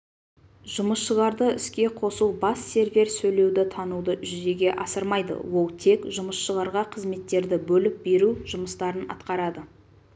жұмысшыларды іске қосу бас сервер сөйлеуді тануды жүзеге асырмайды ол тек жұмысшыларға қызметтерді бөліп беру жұмыстарын атқарады